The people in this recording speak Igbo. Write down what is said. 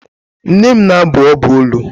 Nne m na-abụ ọbụ olu.